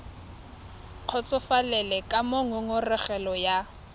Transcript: kgotsofalele ka moo ngongorego ya